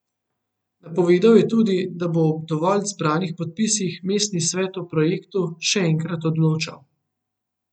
Napovedal je tudi, da bo ob dovolj zbranih podpisih mestni svet o projektu še enkrat odločal.